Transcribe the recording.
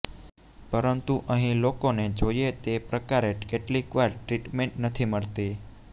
પરંતુ અહીં લોકોને જોઇએ તે પ્રકારે કેટલીક વાર ટ્રીટમેન્ટ નથી મળતી